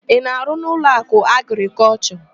Ị na-arụ n'Ụlọakụ Agrịkọlshọ?